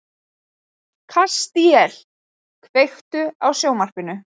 Kastíel, kveiktu á sjónvarpinu.